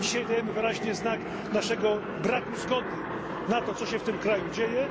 Dzisiaj dajemy wyraźnie znak naszego braku zgody na to, co się w tym kraju dzieje.